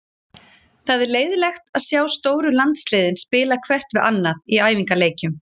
Það er leiðinlegt að sjá stóru landsliðin spila hvert við annað í æfingaleikjum.